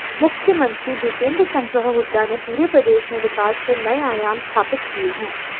मुख्यमंत्री भूपेंद्र ङ्क्षसह हुड्डा ने पूरे प्रदेश में विकास के नए आयाम स्थापित किए है